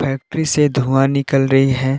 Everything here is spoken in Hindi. फैक्ट्री से धुआं निकल रही है।